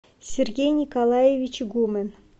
сергей николаевич гумен